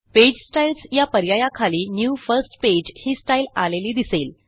page styles या पर्यायाखाली new first pageही Styleआलेली दिसेल